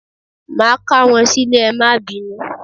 Máà k'áwọn sílè, ẹ má bínú